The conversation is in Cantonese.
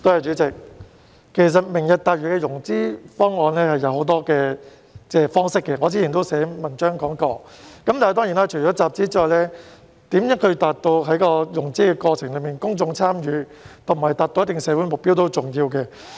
主席，"明日大嶼"的融資方案有很多方式，我之前也曾經寫文章談論過，而除了集資外，如何達到在融資過程中有公眾參與及達到一定的社會目標也是重要的。